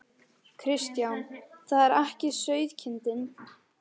Kristján: Það er ekki sauðkindin?